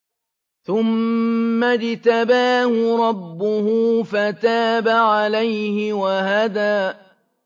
ثُمَّ اجْتَبَاهُ رَبُّهُ فَتَابَ عَلَيْهِ وَهَدَىٰ